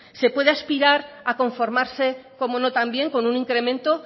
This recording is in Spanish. se puede aspirar a conformarse cómo no también con un incremento